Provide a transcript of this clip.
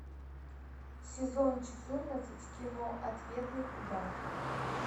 сезон четырнадцать кино ответный удар